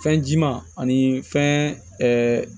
Fɛnji ma ani fɛn